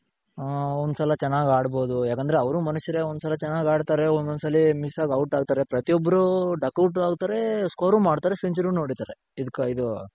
ಹಾ ಒಂದ್ ಸಲ ಚೆನಾಗ್ ಆಡ್ಬೋದು ಯಾಕಂದ್ರೆ ಅವ್ರು ಮನುಷ್ಯರೆ ಒಂದ್ ಸಲ ಚೆನಾಗ್ ಆಡ್ತಾರೆ ಒಂದೊಂದ್ ಸಲಿ miss ಆಗ್ out ಆಗ್ತಾರೆ. ಪ್ರತಿಯೋಬ್ರು Duck out ಆಗ್ತಾರೆ. score ಮಾಡ್ತಾರೆ. century ನು ಓಡಿತಾರೆ ಇದು